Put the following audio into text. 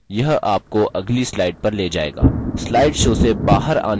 यह आपको अगली slide पर ले जायेगा